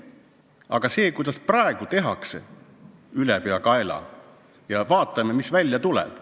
Aga see, kuidas praegu seda tehakse, ülepeakaela ja nii, et vaatame, mis välja tuleb ...